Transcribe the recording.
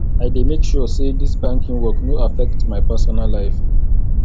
i dey make sure sey dis banking work no affect my personal life